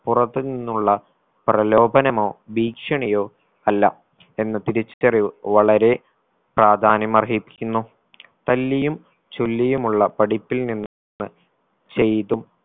പുറത്ത് നിന്നുള്ള പ്രലോഭനമോ ഭീഷണിയോ അല്ല എന്ന തിരിച്ചറിവ് വളരെ പ്രാധാന്യം അർഹിക്കുന്നു തല്ലിയും ചൊല്ലിയുമുള്ള പഠിപ്പിൽ നിന്ന് ചെയ്തും